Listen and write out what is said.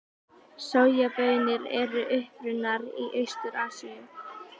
Sojabaunir eru upprunnar í Austur-Asíu.